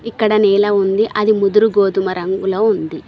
ఇక్కడ నేల ఉంది అది ముదురు గోధుమ రంగుల ఉంది.